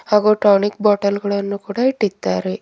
ಹಾಗೂ tonic bottle ಗಳನ್ನು ಕೂಡ ಇಟ್ಟಿದ್ದಾರೆ.